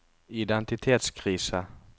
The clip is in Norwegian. identitetskrise